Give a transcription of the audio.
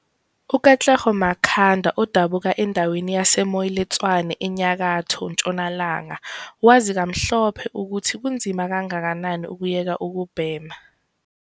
UKatlego Makhanda odabuka endaweni yase-Moiletswane eNyakatho Ntshonalanga wazi kamhlophe ukuthi kunzima kangakanani ukuyeka ukubhema.